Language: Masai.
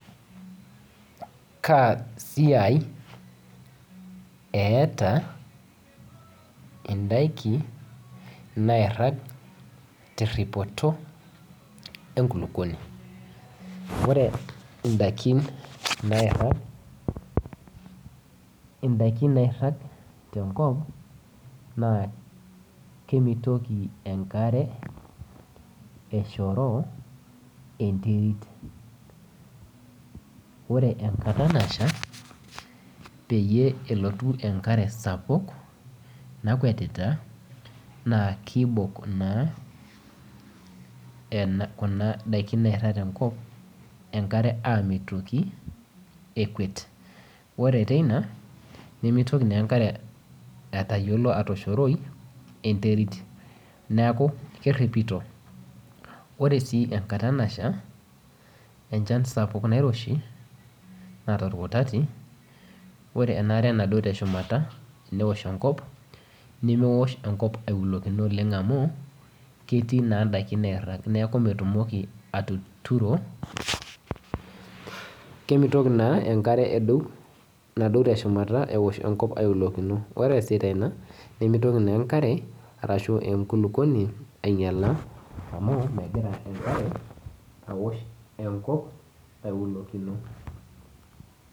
Kaa siai etaa indaiki naairaga teripoto enkulukuoni, oree indaiki nairang, indaiki nairang tenkop naa kemitoki enkare eshoroo enterit, ore enkata nasha peeyie elotu enkare sapuk nakwetita naa kibok naa kuna daiki nairang tenkop enkare amitoki ekewet, oree teina nimitoki enkare atayiolo atoshoroi enterit, neeku keripito, oree sii enkata nasha enchan sapuk nairoshi naata orkutati, oree enaare nasha naduo teshumata tewosh enkop, nemeosh enkop aiulokilo amu ketii naa indaiki nairagita, neeku metumok atuturo, kemitoki naa enkare naduo teshumata ewosh enkop aiulokilo, oree esita ina nimitoki enkulukuoni ainyiala amu amitoki enkare ewosh enkop aiulokino